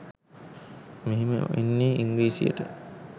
මෙහෙම වෙන්නෙ ඉංග්‍රීසියට